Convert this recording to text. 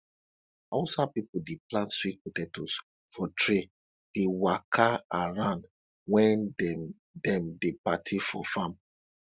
hausa pipo dey plant sweet potatoes for tray dey waka around wen dem dem dey party for farm